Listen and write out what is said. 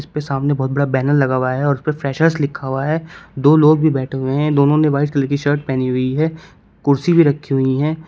पे सामने बहुत बड़ा बैनर लगा हुआ है और उसपे फ्रेशर्स लिखा हुआ है दो लोग भी बैठे हुए हैं दोनों ने व्हाइट कलर की शर्ट पहनी हुई है कुर्सी भी रखी हुई हैं।